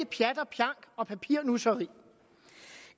pjat og pjank og papirnusseri